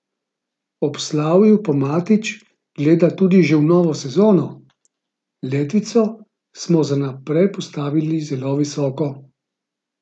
Ob slavju pa Matić gleda tudi že v novo sezono: "Letvico smo za naprej postavili zelo visoko.